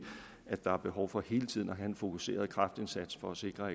at der er behov for hele tiden at have en fokuseret kraftindsats for at sikre